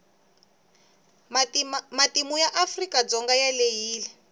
matimu ya afrika dzonga ma andzile